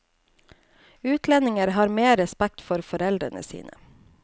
Utlendinger har mer respekt for foreldrene sine.